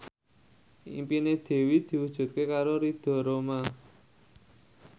impine Dewi diwujudke karo Ridho Roma